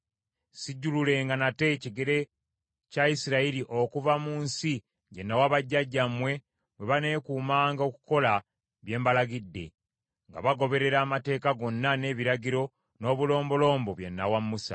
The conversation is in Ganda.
Sijjululenga nate kigere kya Isirayiri okuva mu nsi gye nawa bajjajjammwe, bwe baneekuumanga okukola bye mbalagidde, nga bagoberera amateeka gonna, n’ebiragiro, n’obulombolombo bye nnawa Musa.”